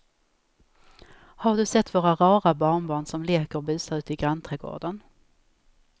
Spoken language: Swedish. Har du sett våra rara barnbarn som leker och busar ute i grannträdgården!